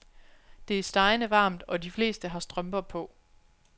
Det er stegende varmt, og de fleste har strømper på.